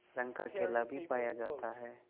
रंग का केला भी पाया जाता है